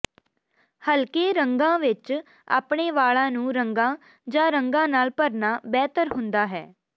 ਹਲਕੇ ਰੰਗਾਂ ਵਿੱਚ ਆਪਣੇ ਵਾਲਾਂ ਨੂੰ ਰੰਗਾਂ ਜਾਂ ਰੰਗਾਂ ਨਾਲ ਭਰਨਾ ਬਿਹਤਰ ਹੁੰਦਾ ਹੈ